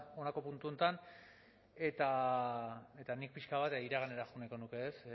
honako puntu honetan eta nik pixka bat iraganera joan nahiko nuke ez